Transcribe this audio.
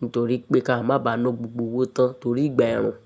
Nítorí pé ká má bàá na gbogbo owó tán torí ìgbà ẹ̀rùn.